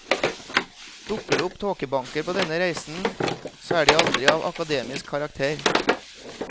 Dukker det opp tåkebanker på denne reisen, så er de aldri av akademisk karakter.